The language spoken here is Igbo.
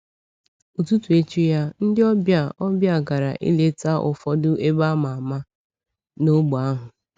Ụtụtụ echi ya, ndị ọbịa ọbịa gara ileta ụfọdụ ebe a ma ama n’ógbè ahụ.